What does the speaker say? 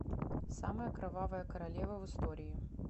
самая кровавая королева в истории